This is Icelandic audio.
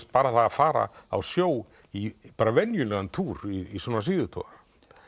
bara það að fara á sjó í venjulegan túr í svona síðutogara